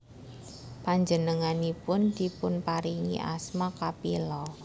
Panjengenganipun dipunparingi asma Kapila